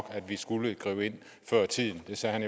at vi skulle gribe ind før tiden det sagde